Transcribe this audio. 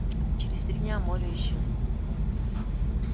через три дня молли исчезла